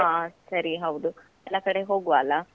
ಹಾ ಸರಿ ಹೌದು, ಎಲ್ಲಾ ಕಡೆ ಹೋಗುವ ಅಲಾ?